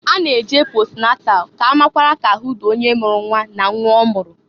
A na -eje posnatal k'a makwara k'ahụ dị onye mụrụ nnwa na nnwa ọmụrụ.